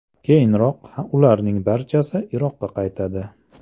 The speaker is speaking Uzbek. Keyinroq ularning barchasi Iroqqa qaytadi.